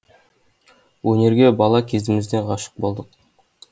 өнерге бала кезімізден ғашық болдық